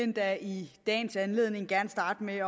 endda i dagens anledning gerne starte med